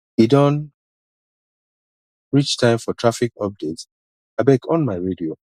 e don reach time for traffic update abeg on my radio